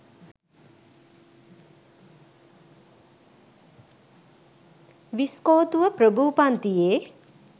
විස්කෝතුව ප්‍රභූ පන්තියේ